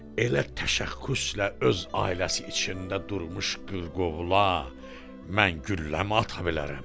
Elə təşəxxüslə öz ailəsi içində durmuş qırqovula mən gülləmi ata bilərəm?